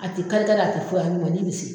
A tɛ kari kari a tɛ fo a ɲumanniin bi se.